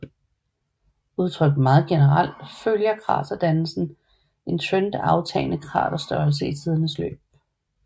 Udtrykt meget generelt følger kraterdannelsen en trend af aftagende kraterstørrelse i tidens løb